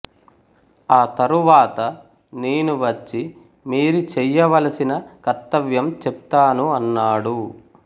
ఆ తరువాత నేను వచ్చి మీరి చెయ్య వలసిన కర్తవ్యం చెప్తాను అన్నాడు